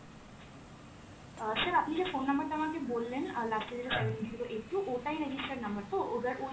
অ্যাঁ sir আপনি যে phone number টা আমাকে বললেন অ্যাঁ last এ যেটার seven zero eight two, ওটাই registered number তো? এবার ওই